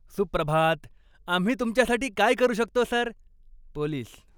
सुप्रभात. आम्ही तुमच्यासाठी काय करू शकतो, सर? पोलीस